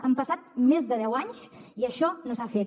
han passat més de deu anys i això no s’ha fet